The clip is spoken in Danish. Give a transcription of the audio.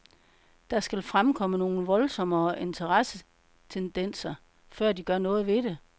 Der skal fremkomme nogle voldsommere interessetendenser, før de gør noget ved det.